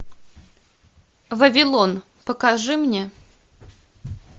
вавилон покажи мне